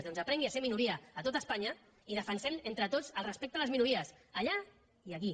doncs aprengui a ser minoria a tot espanya i defensem entre tots el respecte a les minories allà i aquí